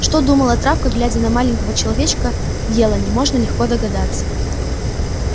что думала травка глядя на маленького человечка в елани можно легко догадаться